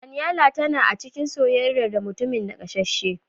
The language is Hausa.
Daniela tana a cikin sosaiya da mutumin naƙasasshe.